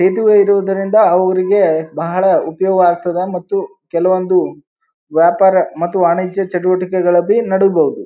ಇದು ಇರುವುದರಿಂದ ಅವ್ರಿಗೆ ಬಹಳ ಉಪಯೋಗ ಆಗ್ತದ ಮತ್ತು ಕೆಲವೊಂದು ವ್ಯಾಪಾರ ಮತ್ತು ವಾಣಿಜ್ಯ ಚಟುವಟಿಕೆಗಳು ನಡೆಬಹುದು.